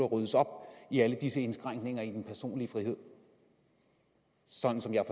ryddes op i alle disse indskrænkninger i den personlige frihed sådan som jeg